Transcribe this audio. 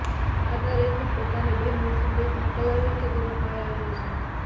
એણે પાદરેથી પોતાની બહેનને સંદેશો મોકલ્યો કે તેનો ભાઈ આવ્યો છે